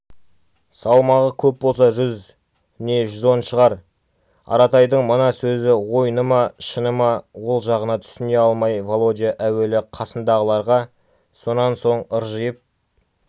салмағы көп болса жүз не жүз он шығар аратайдың мына сөзі ойыны ма шыны ма ол жағына түсіне алмай володя әуелі қасындағыларға сонан соң ыржиып